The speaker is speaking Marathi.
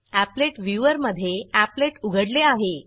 एपलेट व्ह्यूवर मधे एपलेट उघडले आहे